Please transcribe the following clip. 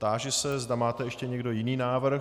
Táži se, zda máte ještě někdo jiný návrh.